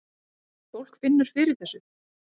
Fólk finnur fyrir þessu